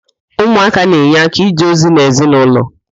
Ụmụaka na-enye áká ije ozi n'ezinaụlọ